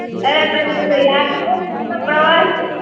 અરે તને ઓલો યાદ છે આપણો પ્રવાસ?